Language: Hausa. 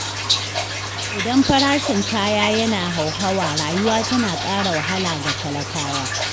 Idan farashin kaya yana hauhawa, rayuwa tana ƙara wahala ga talakawa.